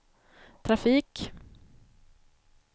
trafik